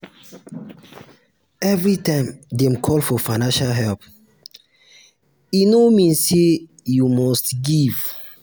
every time dem call for financial help e no um mean say you must give.